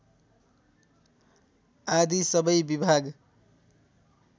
आदि सबै विभाग